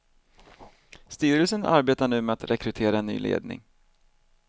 Styrelsen arbetar nu med att rekrytera en ny ledning.